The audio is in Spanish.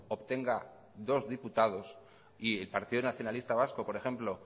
obtenga dos diputados y el partido nacionalista vasco por ejemplo